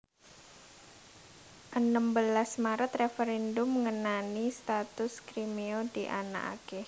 Enem belas Maret Réferèndum ngenani status Kriméa dianakaké